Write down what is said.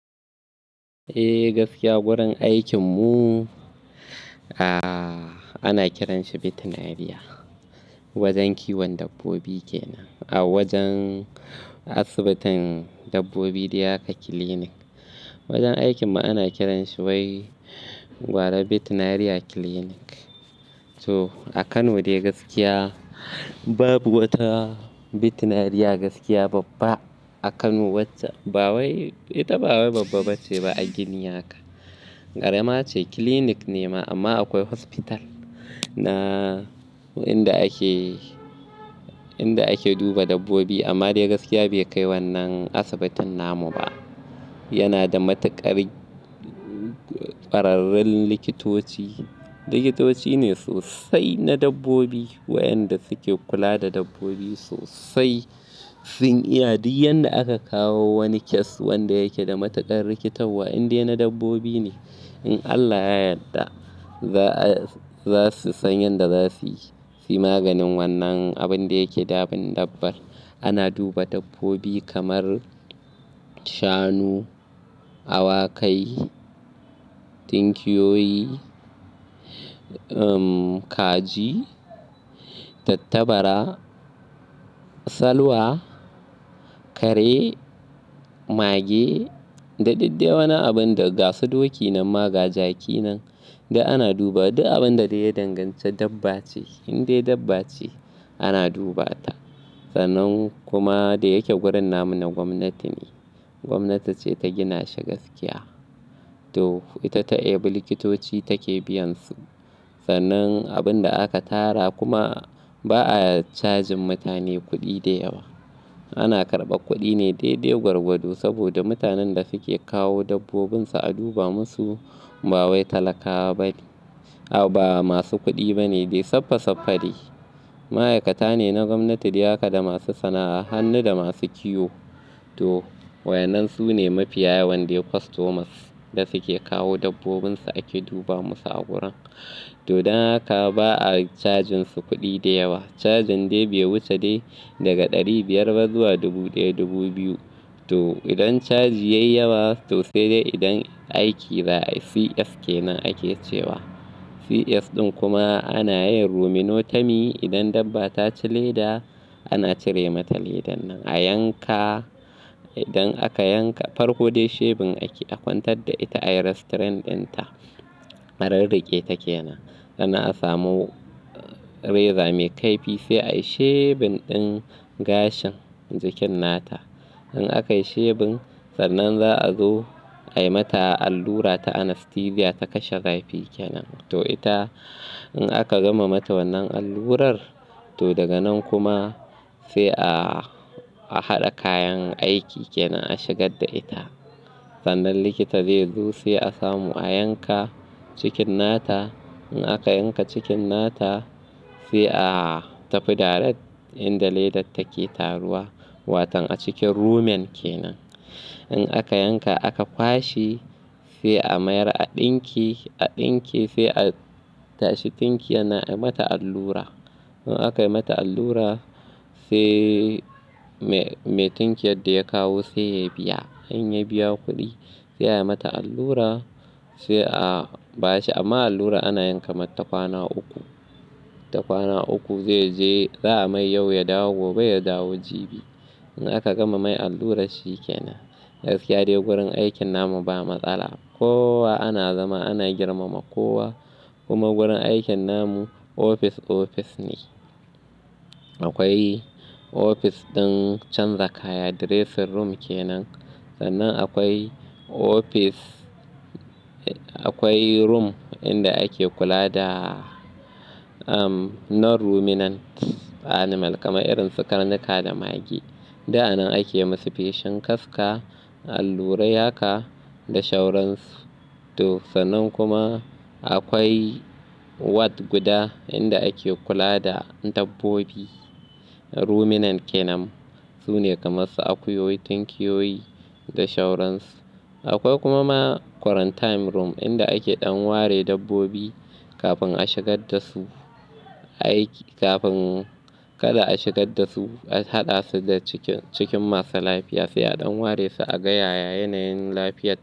Eh gaskiya, wurin aikin mu, ah ana kiranshi Veterinary wajen kiwon dabbobi kenan. A wajen asibitin dabbobi dayaka clinic. Wajen aikin mu ana kiranshi wai gwara Veterinary Clinic. To a Kano dai gaskiya babu wata veterinary gaskiya babba a Kano wacce ba wai ita ba wai babba ba ce ba a gini haka. Karama ce clinic ne ma amma akwai hospital na inda ake, inda ake duba dabbobi amma dai gaskiya bai kai wannan asibitin namu ba. Yana da matuƙar ƙwararrun likitoci. Likitoci ne sosai na dabbobi waɗanda suke kula da dabbobi sosai. Sun iya duk yadda aka kawo wani case wanda yake da matuƙar rikitarwa inde na dabbobi ne. In Allah ya yadda za su san yanda za su yi maganin wannan abin da yake damin dabbar. Ana duba dabbobi kamar shanu, awakai, tinkiyoyi, um kaji, tattabara, salwa, kare, mage da dukdai wannan abin da gasu doki nan ma ga jaki nan du ana duba duk abin da ya danganci dabba ce indai dabba ce ana dubata. Sannan kuma da yake wurin namun na gwamnati ne, gwamnati ce ta gina shi gaskiya. To ita ta ebe likitoci take biyansu. Sannan abin da aka tara kuma ba a cajin mutane kuɗi da yawa. Ana karɓa kuɗi ne dai-dai gwargwado saboda mutanen da suke kawo dabbobinsu a duba musu ba wai talakawa bane. Ah ba masu kuɗi bane dai saffa-saffa dai. Ma'aikata ne na gwamnati dayaka da masu sana'a hannu da masu kiwo. To wayannan su ne mafiya yawan dai customers da suke kawo dabbobinsu ake duba musu a wurin. To dan haka ba a cajin su kuɗi da yawa. Cajin dai bai wuce dai daga ɗari biyar ba zuwa dubu ɗaya, dubu biyu. To idan caji ya yi yawa to sai dai idan aiki za a yi CS kenan ake cewa. CS ɗin kuma ana yin ruminotomy idan dabba ta ci leda ana cire mata ledan nan a yanka. Idan aka yanka farko dai shebin ake a kwantar da ita ayi restrain din ta. A rirriƙe ta kenan. Sannan a samu reza mai kaifi sai ayi shebin ɗin gashin cikin nata. In aka yi shebin sannan za a zo ayi mata allura ta anaesthesia ta kashe zafi kenan. To ita in aka gama mata wannan allurar to daga nan kuma sai a haɗa kayan aiki kenan a shigar da ita. Sannan likita zai zo sai a samu a yanka cikin nata. In aka yanka cikin nata sai a tafi direct inda ledar take taruwa. Watan a cikin rumen kenan. In aka yanka aka kwashe sai a mayar a ɗinke, a ɗinke sai a tashi tinkiya na ayi mata allura. In aka yi mata allura sai me, me tinkiyar da ya kawo sai ya biya. In ya biya kuɗi sai ayi mata allura sai a ba shi. Amma allura ana yanka mata kwana uku. Ta kwana uku zai je, za a mai yau ya dawo gobe ya dawo jibi. In aka gama mai allura shi kenan. Gaskiya dai wurin aikin namu ba matsala. Kowa ana zama ana girmama kowa. Kuma wurin aikin namu ofis ofis ne. Akwai ofis ɗin canza kaya dressing room kenan. Sannan akwai ofis, akwai room inda ake kula da um non ruminants animal kamar irin su karnuka da mage. Duk anan ake musu feshen kaska, allurai haka da shoransu. To sannan kuma akwai ward guda inda ake kula da dabbobi ruminant kenan. Su ne kamar su akuyoyi, tinkiyoyi da shauransu. Akwai kuma ma quarantine room inda ake ɗan ware dabbobi kafin a shigar da su aiki. Kafin kada a shigar da su a haɗa su da cikin, cikin masu lafiya sai a ɗan ware su a gaya yayyan lafiyata.